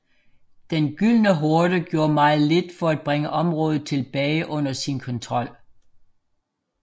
Den Gyldne Horde gjorde meget lidt for at bringe området tilbage under sin kontrol